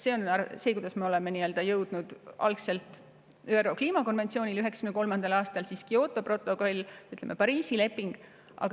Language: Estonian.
See on see, kuidas me jõudsime algselt ÜRO kliimakonventsioonini 1993. aastal, seejärel tulid Kyoto protokoll ja, ütleme, Pariisi leping.